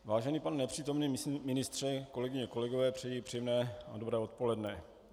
Vážený pane nepřítomný ministře, kolegyně a kolegové, přeji příjemné a dobré odpoledne.